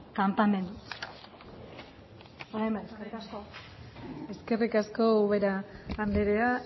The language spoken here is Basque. kanpamendu eskerrik asko eskerrik asko ubera andrea